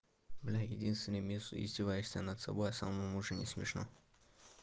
блядь единственный минус издеваешься над собой а самому уже не смешно